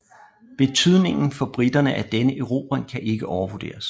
Betydningen for briterne af denne erobring kan ikke overvurderes